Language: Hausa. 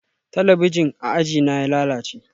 Talabijin a ajina ya lalace